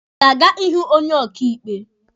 Ị ga-aga ịhụ onye ọkaịkpe?